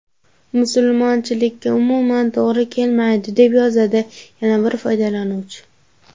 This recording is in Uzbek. Musulmonchilikka umuman to‘g‘ri kelmaydi”, deb yozadi yana bir foydalanuvchi.